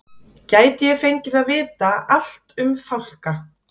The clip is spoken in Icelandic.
Gæti ég fengið að vita allt um fálka?